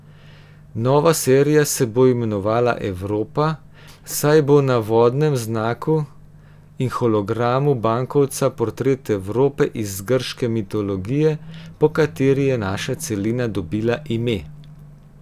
Nova serija se bo imenovala Evropa, saj bo na vodnem znaku in hologramu bankovca portret Evrope iz grške mitologije, po kateri je naša celina dobila ime.